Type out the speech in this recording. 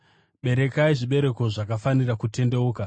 Berekai zvibereko zvakafanira kutendeuka.